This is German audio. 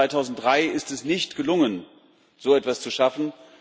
Seit 2003 ist es nicht gelungen, so etwas zu schaffen.